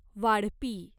वाढपी